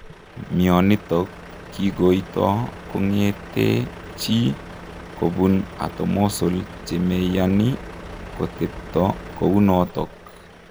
Mionitok kigoitoo kongetee chii kobuun atomosol chemeyanii koteptoo kounotok